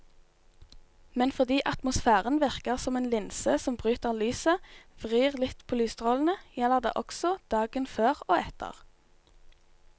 Men fordi atmosfæren virker som en linse som bryter lyset, vrir litt på lysstrålene, gjelder det også dagen før og etter.